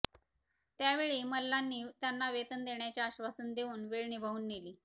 त्या त्यावेळी मल्ल्यांनी त्यांना वेतन देण्याचे आश्वासन देऊन वेळ निभावून नेली